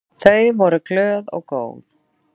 Þau voru glöð og góð.